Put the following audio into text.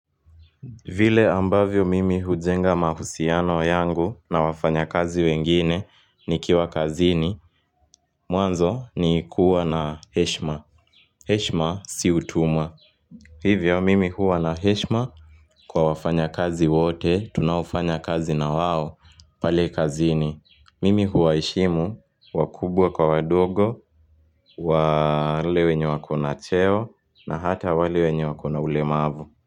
Vile ambavyo mimi hujenga mahusiano yangu na wafanyakazi wengine nikiwa kazini Mwanzo ni kuwa na heshima. Heshima si utumwa Hivyo mimi huwa na heshima kwa wafanyakazi wote tunaofanya kazi na wao pale kazini. Mimi huwaheshimu wakubwa kwa wadogo, wale wenye wako na cheo na hata wale wenye wako na ulemavu.